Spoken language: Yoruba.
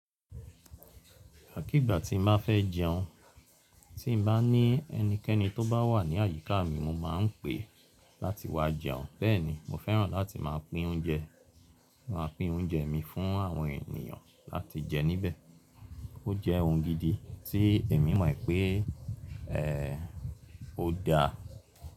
Ìgbàkígbà tí n bá fẹ́ jẹun, tí n bá ní ẹnikẹ́ni tó bá wà ní àyíká mi, mo máa ń pe láti wá jẹun. Bẹ́ẹ̀ ni, mo fẹ́ràn láti máa pín oúnjẹ. Mo máa pín oúnjẹ mi fún àwọn ènìyàn láti jẹ níbẹ̀. Ó jẹ́ ohun gidi tí èmi mọ̀ pé e o dá.